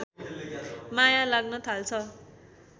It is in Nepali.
माया लाग्न थाल्छ